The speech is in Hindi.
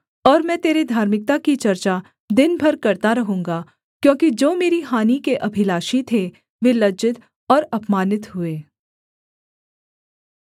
और मैं तेरे धार्मिकता की चर्चा दिन भर करता रहूँगा क्योंकि जो मेरी हानि के अभिलाषी थे वे लज्जित और अपमानित हुए